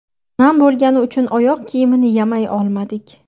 Nam bo‘lgani uchun oyoq kiyimini yamay olmadik.